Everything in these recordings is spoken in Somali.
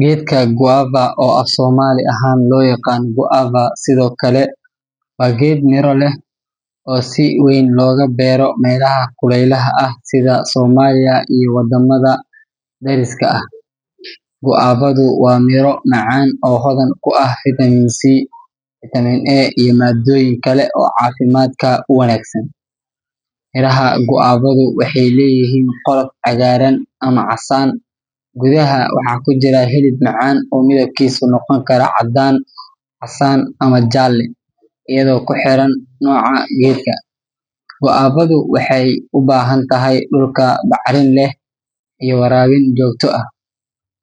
Geedka guava, oo af-Soomaali ahaan loo yaqaan guava sidoo kale, waa geed miro leh oo si weyn looga beero meelaha kuleylaha ah sida Soomaaliya iyo wadamada dariska ah. Guavadu waa miro macaan oo hodan ku ah fitamiin C, fiitamiin A, iyo maaddooyin kale oo caafimaadka u wanaagsan. Miraha guavadu waxay leeyihiin qolof cagaaran ama casaan, gudaha waxaa ku jira hilib macaan oo midabkiisu noqon karo caddaan, casaan, ama jaalle iyadoo ku xiran nooca geedka. Guavadu waxay u baahan tahay dhul bacrin leh iyo waraabin joogto ah,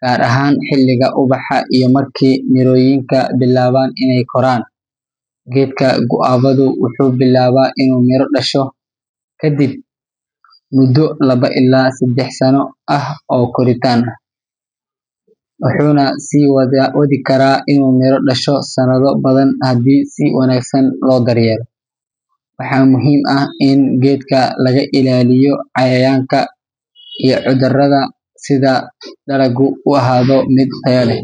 gaar ahaan xilliga ubaxa iyo markii mirooyinka bilaabaan inay koraan. Geedka guavadu wuxuu bilaabaa inuu miro dhasho kadib muddo laba ilaa saddex sano ah oo koritaan ah, wuxuuna sii wadi karaa inuu miro dhasho sanado badan haddii si wanaagsan loo daryeelo. Waxaa muhiim ah in geedka laga ilaaliyo cayayaanka iyo cudurrada si dalagu u ahaado mid tayo leh.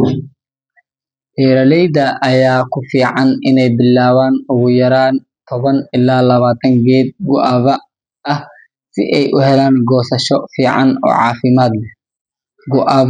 Beeraleyda ayaa ku fiican inay bilaabaan ugu yaraan toban ilaa labaatan geed guava ah si ay u helaan goosasho fiican oo caafimaad leh. Guavadu.